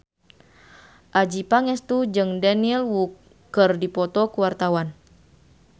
Adjie Pangestu jeung Daniel Wu keur dipoto ku wartawan